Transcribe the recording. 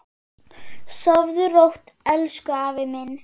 Sofðu rótt elsku afi minn.